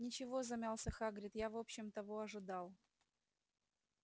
ничего замялся хагрид я в общем того ожидал